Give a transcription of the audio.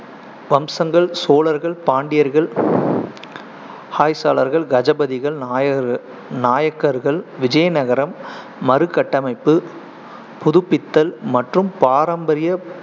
வம்சங்கள் சோழர்கள், பாண்டியர்கள ஹாய்சாலர்கள், கஜபதிகள், நாயகர்கள் நாயக்கர்கள், விஜயநகரம் மறுகட்டமைப்பு, புதுப்பித்தல் மற்றும் பாரம்பரிய